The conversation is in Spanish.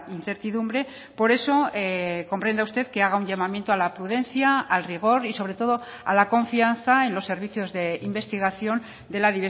incertidumbre por eso comprenda usted que haga un llamamiento a la prudencia al rigor y sobre todo a la confianza en los servicios de investigación de la